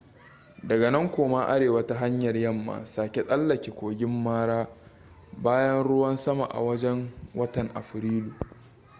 daga nan koma arewa ta hanyar yamma sake tsallake kogin mara bayan ruwan sama a wajen watan afrilu